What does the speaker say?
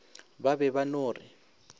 ba be ba no re